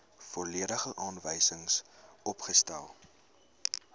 volledige aanwysings opgestel